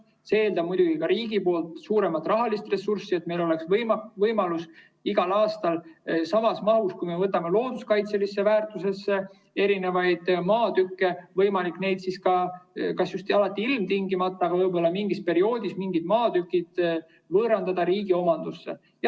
See eeldab muidugi ka riigilt suuremat rahalist ressurssi, et kui me võtame maatükke looduskaitselise väärtuse hulka, siis meil oleks võimalus igal aastal samas mahus, kas ilmtingimata just alati, aga võib-olla mingil perioodil mingid maatükid võõrandada riigi omandusse.